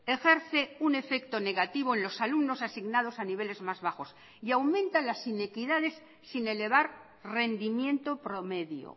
ejerce un efecto negativo en los alumnos asignados a niveles más bajos y aumentan las inequidades sin elevar rendimiento promedio